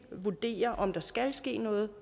vurdere om der skal ske noget